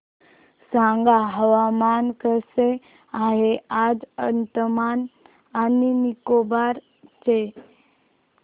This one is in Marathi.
सांगा हवामान कसे आहे आज अंदमान आणि निकोबार चे